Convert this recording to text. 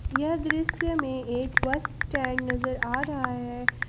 यह दृश्य मे एक बस स्टैंड नजर आ रहा है।